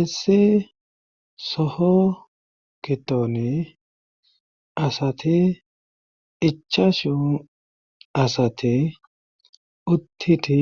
issi soho gidoni asati ichashu asati uttiti